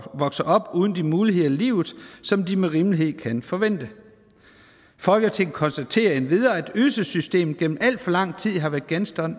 vokser op uden de muligheder i livet som de med rimelighed kan forvente folketinget konstaterer endvidere at ydelsessystemet gennem alt for lang tid har været genstand